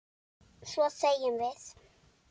Svo þegjum við.